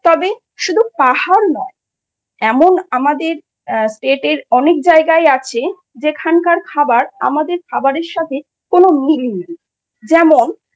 তবে শুধু পাহাড় নয়, এমন আমাদের state এর অনেক জায়গায় আছে যেখানকার খাবার আমাদের খাবারের সাথে কোন মিল নেই যেমন